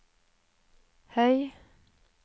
høy